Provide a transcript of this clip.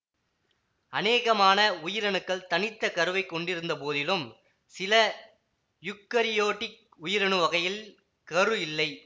அநேகமான உயிரணுக்கள் தனித்த கருவைக் கொண்டிருந்த போதிலும் சில யூக்கரியோட்டிக் உயிரணு வகைகளில் கரு இல்லை